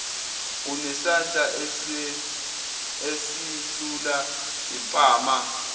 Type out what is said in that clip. unesandla esilula impama